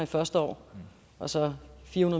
første år og så fire